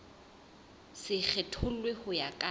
se kgethollwe ho ya ka